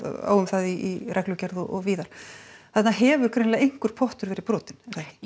á um það í reglugerð og víðar þarna hefur greinilega einhver pottur verið brotinn